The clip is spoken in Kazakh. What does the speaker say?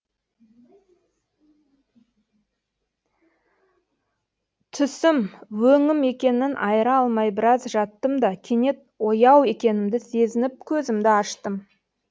түсім өңім екенін айыра алмай біраз жаттым да кенет ояу екенімді сезініп көзімді аштым